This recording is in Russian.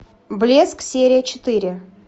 блеск серия четыре